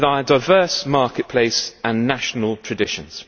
with our diverse marketplace and national traditions.